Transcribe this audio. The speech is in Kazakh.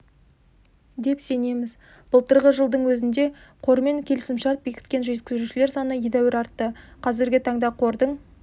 деп сенеміз былтырғы жылдың өзінде қормен келісімшарт бекіткен жеткізушілер саны едәуір артты қазіргі таңда қордың